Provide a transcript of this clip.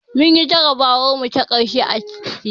Munyi jarabawar mu ta ƙarshe a tiyata